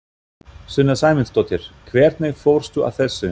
Sunna Sæmundsdóttir: Hvernig fórstu að þessu?